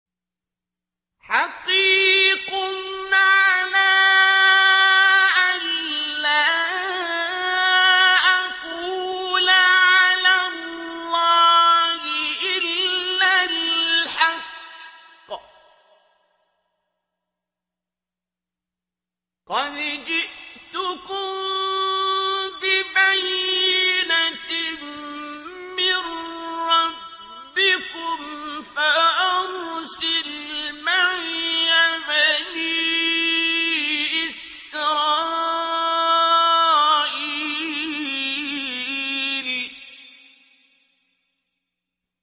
حَقِيقٌ عَلَىٰ أَن لَّا أَقُولَ عَلَى اللَّهِ إِلَّا الْحَقَّ ۚ قَدْ جِئْتُكُم بِبَيِّنَةٍ مِّن رَّبِّكُمْ فَأَرْسِلْ مَعِيَ بَنِي إِسْرَائِيلَ